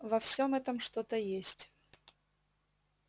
во всём этом что-то есть